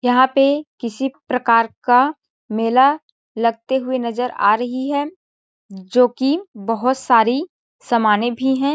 यहाँ पे किसी प्रकार का मेला लगते हुए नज़र आ रही है जो कि बहोत सारी समाने भी है ।